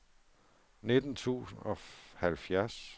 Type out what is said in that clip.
nitten tusind og halvfjerds